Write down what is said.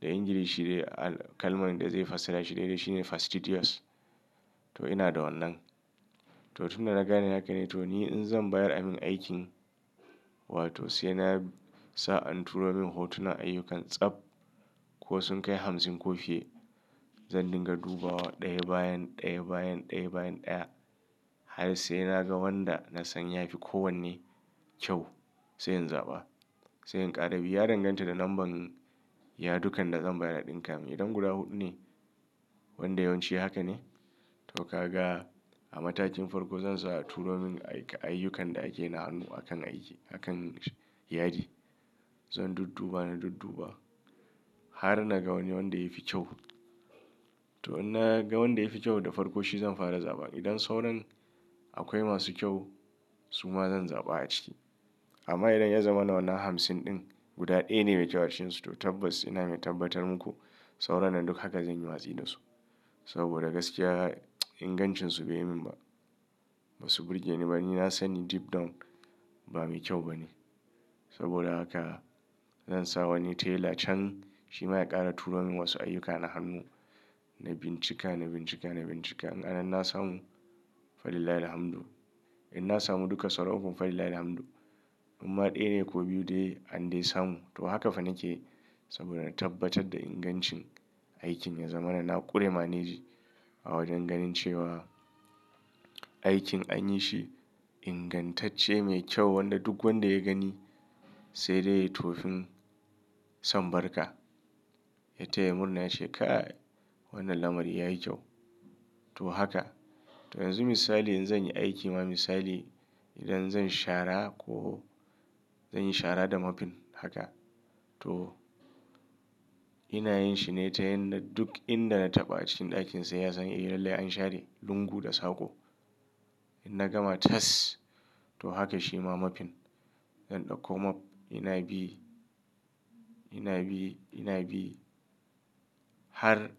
da Ingilishi dai kalman da zai fassara shi daidai shi ne fastidious. To ina da wannan. To tun da na gane haka ne to ni in zan bayar amin aikin wato sai nasa an turo min hotunan ayyukan tsab ko sun kai hamsin ko fiye. Zan dinga duba wa, ɗaya bayan ɗaya bayan ɗaya bayan ɗaya har sai na ga wanda na san ya fi kowanne kyau sai in zaɓa. Sai in ƙara bi. Ya danganta da lambar- yadukan da zan bayar a ɗinka. Idan guda huɗu ne, wanda yawanci haka ne, to ka ga a matakin farko zan sa a turo min ayyukan da ake na hannu a kan aiki, a kan yadi. Zan dudduba na dudduba har na ga wani wanda ya fi kyau. To in na ga wanda ya fi kyau da farko shi zan fara zaba. Idan sauran akwai masu kyau su ma zan zaɓa a ciki. Amma idan ya zama na wannan hamsin ɗin guda ɗaya ne mai kyautarsu to tabbas ina mai tabbatar muku sauran nan duk haka zan yi watsi da su. Saboda gaskiya ingancinsu bai min ba. Ba su burge ni ba. Ni na san ni deep down ba mai kyau ba ne. Saboda haka zan sa wani tela can shi ma ya ƙara turo min wasu ayyuka na hannu na bincika na bincika na bincika. In anan na samu, Falillahil hamdu. In na samu duka sauran ko Falillahil hamdu. Amma ɗaya ne ko biyu dai an dai samu to haka fa nake saboda na tabbatar da ingancin aikin ya zama na na ƙure manage a wajen ganin cewa aikin an yi shi ingantacce mai kyau wanda duk wanda ya gani sai dai ya yi tofin son barka. Ya taya murna ya ce kai wannan lamari yayi kyau. To haka. To yanzu misali in zan yi aiki ma misali idan zan shara ko zan yi shara da mapin haka to ina yin shi ne ta yanda duk inda na taɓa a cikin ɗakin sai ya sani eh lallai an share lungu da saƙo. In na gama tas, to haka shi ma mapin zan ɗauko map ina bi, ina bi, ina bi har.